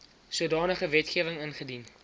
sodanige wetgewing ingedien